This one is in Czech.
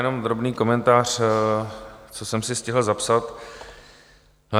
Jenom drobný komentář, co jsem si stihl zapsat.